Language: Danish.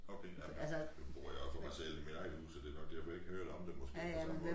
Okay jamen nu bor jeg jo for mig selv i mit eget hus så det nok derfor jeg ikke har hørt om det måske på den samme måde